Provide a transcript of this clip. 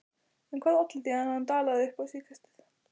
En hvað olli því að hann dalaði upp á síðkastið?